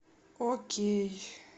окей